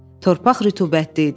Torpaq rütubətli idi.